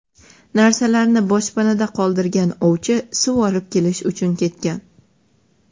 Narsalarni boshpanada qoldirgan ovchi suv olib kelish uchun ketgan.